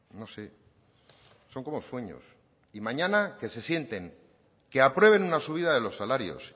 no sé son como sueños y mañana que se sienten que aprueben una subida de los salarios